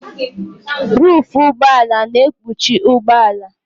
Ruufu ụgbọala na-ekpuchi ụgbọala.